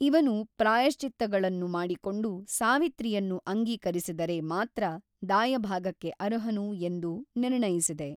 ಇವನು ಪ್ರಾಯಶ್ಚಿತ್ತಗಳನ್ನು ಮಾಡಿಕೊಂಡು ಸಾವಿತ್ರಿಯನ್ನು ಅಂಗೀಕರಿಸಿದರೆ ಮಾತ್ರ ದಾಯಭಾಗಕ್ಕೆ ಅರ್ಹನು ಎಂದು ನಿರ್ಣಯಿಸಿದೆ.